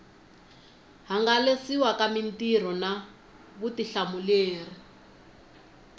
hangalasiwa ka mitirho na vutihlamuleri